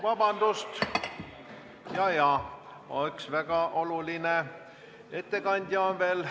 Vabandust, jaa-jaa, üks väga oluline ettekandja on veel.